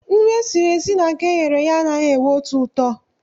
Nri esiri esi na nke eghere eghe anaghị enwe otu ụtọ.